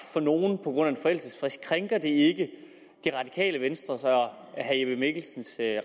for nogle på grund af en forældelsesfrist krænker det ikke det radikale venstres og herre jeppe mikkelsens